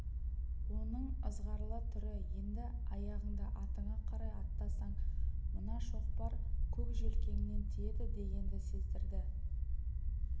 оның ызғарлы түрі енді аяғыңды атыңа қарай аттасаң мына шоқпар көк желкеңнен тиеді дегенді сездірді